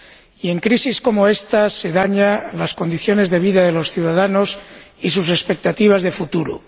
Y en crisis como esta se dañan las condiciones de vida de los ciudadanos y sus expectativas de futuro.